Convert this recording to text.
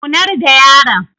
Zaunar da yaron